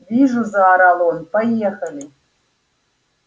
вижу заорал он поехали